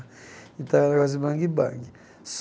Então era umas de bang-bang.